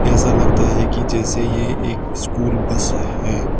ऐसा लगता है कि जैसे ये एक स्कूल बस है।